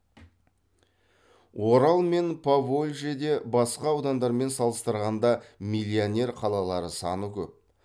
орал мен поволжьеде басқа аудандармен салыстырғанда миллионер қалалар саны көп